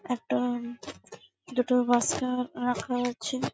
একটা-আ দুটো বচ্চা রাখা আছে ।